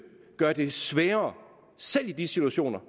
gøre det sværere selv i de situationer